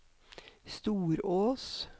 Storås